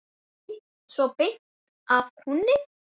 Svona beint af kúnni.